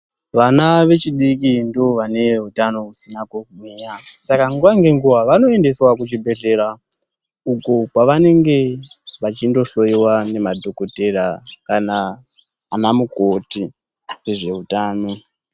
Vana vechidiki ndivo vane utano husina kugwinya , saka nguwa ngenguwa vanoendeswa kuchibhedhlera uko kwavanenge vachindohloyiya ngemadhokotera kana ana mukoti nezveutano.